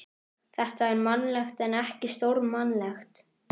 Drottinn er minn hirðir, af þeim sökum örvænti ég ekki.